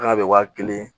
Kana bɛ wa kelen